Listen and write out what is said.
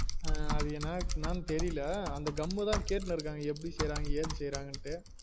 அஹ் அது என்னனு தெரில்ல அந்த gum தான் கேட்டு இருக்காங்க எப்டி செய்ராங்க ஏது செய்ராங்கனுட்டு